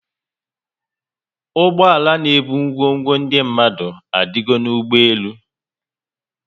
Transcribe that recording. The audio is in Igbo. Ụgbọala n'ebu ngwongwo ndị mmadụ adigo n'ụgbọelu